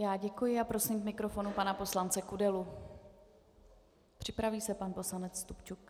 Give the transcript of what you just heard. Já děkuji a prosím k mikrofonu pana poslance Kudelu, připraví se pan poslanec Stupčuk.